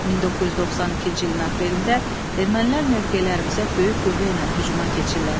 1992-ci ilin aprelində ermənilər mövqelərimizə böyük qüvvə ilə hücuma keçirlər.